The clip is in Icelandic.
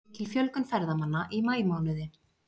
Mikil fjölgun ferðamanna í maímánuði